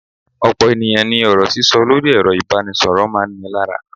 Ọ̀pọ̀ ènìyàn ní ọ̀rọ̀ sísọ lórí ẹ̀rọ ìbánisọ̀rọ̀ máa ń ni lára.